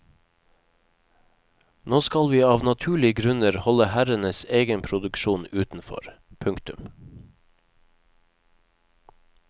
Nå skal vi av naturlige grunner holde herrenes egen produksjon utenfor. punktum